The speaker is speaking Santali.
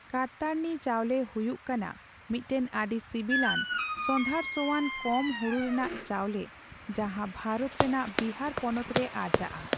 ᱠᱟᱨᱛᱟᱨᱱᱤ ᱪᱟᱣᱞᱮᱹ ᱦᱭᱩᱩᱜ ᱠᱟᱱᱟ ᱢᱤᱫᱴᱟᱝ ᱟᱹᱰᱤ ᱥᱤᱵᱤᱞᱟᱱ, ᱥᱚᱸᱫᱷᱟᱲ ᱥᱚᱣᱟᱱ, ᱠᱚᱢ ᱦᱩᱲᱩ ᱨᱮᱱᱟᱜ ᱪᱟᱣᱞᱮᱹ ᱡᱟᱦᱟᱸ ᱵᱷᱟᱨᱚᱛ ᱨᱮᱱᱟᱜ ᱵᱤᱦᱟᱨ ᱯᱚᱱᱚᱛ ᱨᱮ ᱟᱨᱡᱟᱜᱼᱟ ᱾